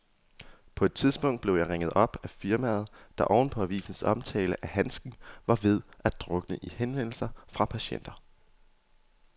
På et tidspunkt blev jeg ringet op af firmaet, der oven på avisens omtale af handsken var ved at drukne i henvendelser fra patienter.